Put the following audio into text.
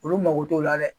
Olu mago t'o la dɛ